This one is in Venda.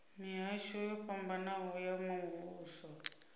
mihasho yo fhambanaho ya muvhuso